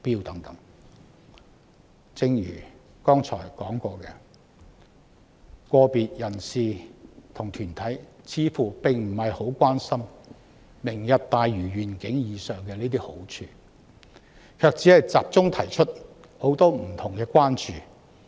然而，正如我剛才所指，個別人士及團體似乎並不特別關心前述"明日大嶼願景"的好處，只是集中提出很多不同的關注。